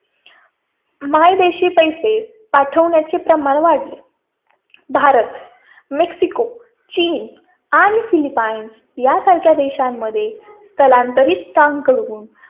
मायदेशी पैसे प्रमाण वाढले. भारत, मेक्सिको, चीन आणि फिलिपाइन्स या सारख्या देशांमध्ये त्या नंतरही त्सांग करून